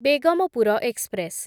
Begampur express